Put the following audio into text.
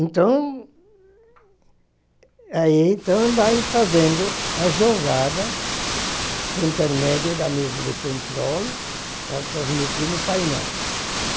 Então, ai então vai fazendo a jogada por intermédio da mesa de controle para transmitir no painel. Ãh...